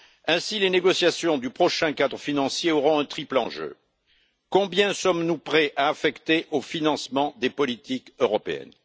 Ainsi, les négociations du prochain cadre financier auront un triple enjeu combien sommes nous prêts à affecter au financement des politiques européennes?